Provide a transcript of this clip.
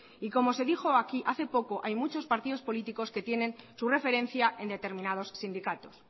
y como se dijo aquí hace poco hay muchos partidos políticos que tienen su referencia en determinados sindicatos